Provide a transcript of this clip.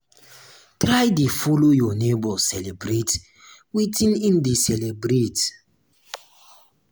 try de follow um your neighbors celebrate wetin in de celebrate